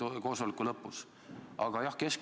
Aga see ei ole Keskerakonna koosolek.